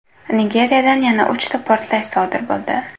Nigeriyada yana uchta portlash sodir bo‘ldi.